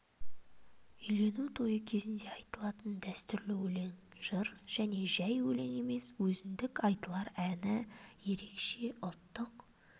үйлену тойы кезінде айтылатын дәстүрлі өлең жыр және жәй өлең емес өзіндік айтылар әні ерекше ұлттық